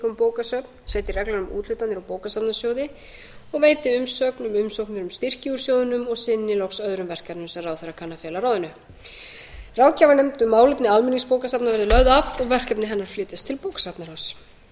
um bókasöfn setji reglur um úthlutanir úr bókasafnasjóði og veiti umsögn um umsóknir um styrki úr sjóðnum og sinni loks öðrum verkefnum sem ráðherra kann að fela ráð ráðgjafarnefnd um málefni almenningsbókasafna verði lögð af og verkefni hennar flytjast til bókasafnaráðs